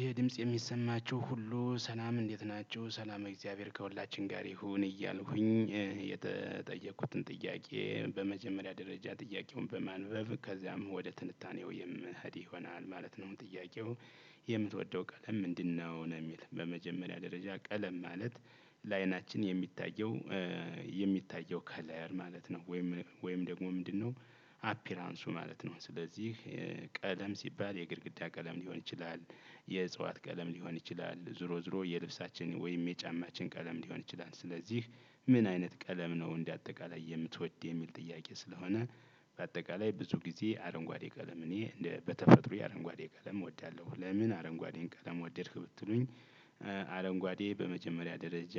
ይሄ ድምጽ የሚሰማቸው ሁሉ ሰላም እንዴት ናቸው ሰላመ እግዚአብሔር ከሁላችን ጋር ይሁን እያልሁኝ የተጠየቁትን ጥያቄ በመጀመሪያ ደረጃ ጥያቄውን በማንበብ ከዛም ወደ ትንታኔው የምኽድ ይሆናል ማለት ነው። ጥያቄው የምትወደው ቀለም ምንድነው? ነው የሚል በመጀመሪያ ደረጃ ቀለም ማለት ለአይናችን የሚታየው የሚታየው ከለር ማለት ነው። ወይም ወይም ደግሞ ምንድነው? አፒራንሱ ማለት ነው። ስለዚህ ቀለም ሲባል የግድግዳ ቀለም ሊሆን ይችላል። የእጽዋት ቀለም ሊሆን ይችላል ዞሮ ዞሮ የልብሳችን ወይም የጫማችን ቀለም ሊሆን ይችላል። ስለዚህ ምን አይነት ቀለም ነው እንደ አጠቃላይ የምትወድ የሚል ጥያቄ ስለሆነ። በአጠቃላይ ብዙ ጊዜ አረንጓዴ ቀለም እኔ በተፈጥሮየ የአረንጓዴ ቀለም እወዳለሁ። ለምን አረንጓዴን ቀለም ወደድክ ብትሉኝ? አረንጓዴ በመጀመሪያ ደረጃ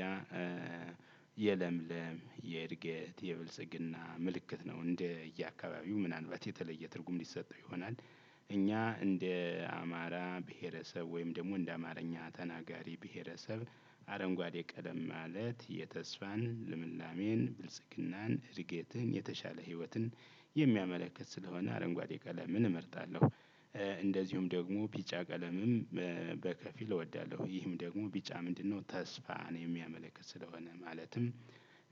የለምለም የእድገት የብልስግና ምልክት ነው። እንደየ አካባቢው ምናልባት የተለየ ትርጉም ሊሰጠው ይሆናል። እኛ እንደ አማራ ብሄረሰብ ወይም ደግሞ እንደ አማርኛ ተናጋሪ ብሄረሰብ። አረንጓዴ ቀለም ማለት የተስፋን ልምላሜን ብልጽግናን እድገትን የተሻለ ህይወትን የሚያመለክት ስለሆነ አረንጓዴ ቀለምን እመርጣለሁ። እንደዚሁም ደግሞ ቢጫ ቀለምም በከፊል እወዳለሁ ይህም ደግሞ ቢጫ ምንድነው? ተስፋን የሚያመለክት ስለሆነ ማለትም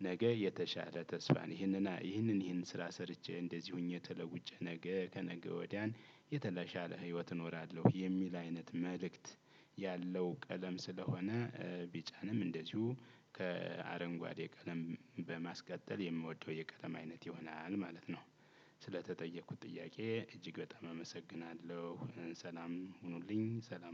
ነገ የተሻለ ተስፋን ይህንን ይህንን ይህንን ስራ ሰርቼ እንደዚህ ሆኜ ተለውጨ ነገ ከነገ ወዲያን የተሻለ ህይወት እኖራለሁ የሚል አይነት መልእክት ያለው ቀለም ስለሆነ። ቢጫንም እንደዚሁ ከአረንጓዴ ቀለም በማስቀጠል የምወደው የቀለም አይነት ይሆናል ማለት ነው። ስለተጠየቁት ጥያቄ እጅግ በጣም አመሰግናለሁ። ሰላም ሁኑልኝ ሰላም